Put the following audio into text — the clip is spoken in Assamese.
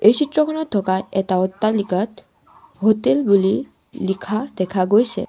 এই চিত্ৰখনত থকা এটা অট্টালিকাত হোটেল বুলি লিখা দেখা গৈছে।